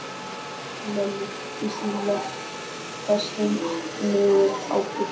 Lalli hentist í loftköstum niður á bryggju.